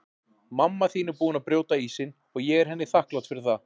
Mamma þín er búin að brjóta ísinn og ég er henni þakklát fyrir það.